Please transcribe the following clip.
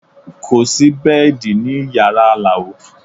Kò sí bẹ́ẹ̀dì ní yàrá Alao